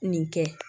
Nin kɛ